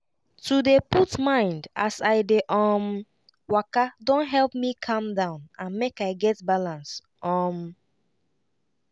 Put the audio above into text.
to dey put mind as i dey um waka don help me calm down and make i get balance. um